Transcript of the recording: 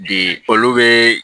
Bi olu be